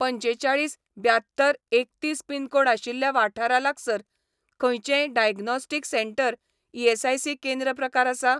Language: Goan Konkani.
पंचेचाळीस ब्यात्तर एकतीस पिनकोड आशिल्ल्या वाठारा लागसार खंयचेंय डायग्नोस्टिक सेंटर ईएसआयसी केंद्र प्रकार आसा ?